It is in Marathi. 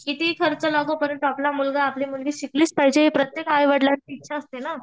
कितीही खर्च लागो आपला मुलगा आपली मुलगी शिकलीच पाहिजे ही प्रत्येक आई वडीलांची इच्छा असते ना.